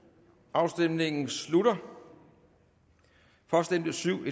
afstemningen slutter for stemte syv